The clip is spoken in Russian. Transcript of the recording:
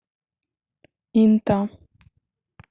инта